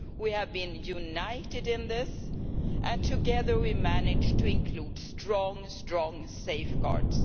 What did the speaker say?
We have been united in this, and together we managed to include very strong safeguards.